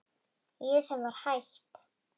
Ég sem var hætt.